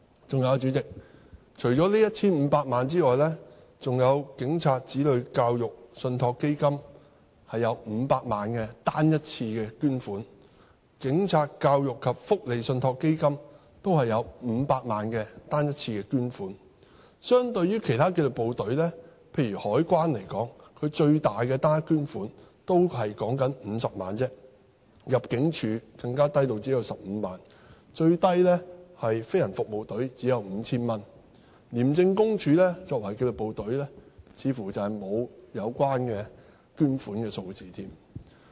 還有，主席，除了此 1,500 萬元外，警察子女教育信託基金也有500萬元的單一捐款，警察教育及福利信託基金亦有500萬元單一捐款，相對而言，其他紀律部隊，例如香港海關最大的單一捐款亦只是50萬元而已，入境事務處更低至只有15萬元，最低的是飛行服務隊，只有 5,000 元，廉政公署作為紀律部隊似乎沒有有關的捐款。